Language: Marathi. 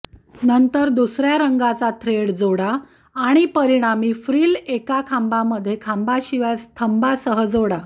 नंतर दुसर्या रंगाचा थ्रेड जोडा आणि परिणामी फ्रिल एका खांबामध्ये खांबाशिवाय स्तंभासह जोडा